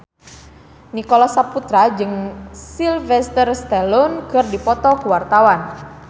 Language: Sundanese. Nicholas Saputra jeung Sylvester Stallone keur dipoto ku wartawan